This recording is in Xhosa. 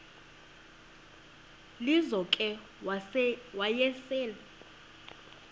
lizo ke wayesel